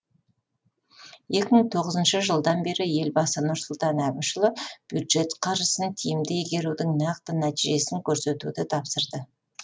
екі мың тоғызыншы жылдан бері елбасы нұрсұлтан әбішұлы бюджет қаржысын тиімді игерудің нақты нәтижесін көрсетуді тапсырды